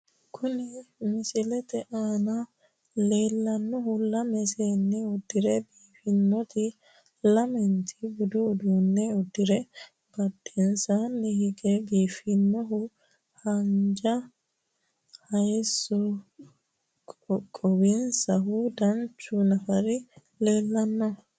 kuni misilete aana leellannohu lame seenni uddire biifinoreeti, lamenti budu uddano uddirino, badhensaanni hige biifannohu haanja hayiissonni qoqowaminohu danchu nafari leellanno.